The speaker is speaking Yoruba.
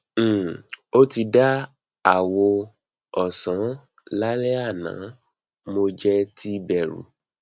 um o ti da awọ̀ ọsan lalẹ ana mọ̀ jẹ ti bẹru